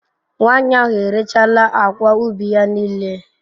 Nwanyị ahụ erechaala akwa ubi ya niile.